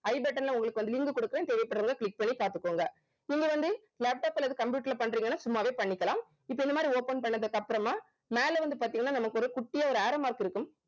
I button ல உங்களுக்கு வந்து link கொடுக்குறேன் தேவைப்படுறவங்க click பண்ணி பாத்துக்கோங்க நீங்க வந்து laptop அல்லது computer ல பண்றீங்கன்னா சும்மாவே பண்ணிக்கலாம் இப்ப இந்த மாதிரி open பண்ணதுக்கு அப்புறமா மேல வந்து பாத்தீங்கன்னா நமக்கு ஒரு குட்டியா ஒரு arrow mark இருக்கும்